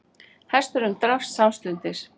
Hesturinn drapst samstundis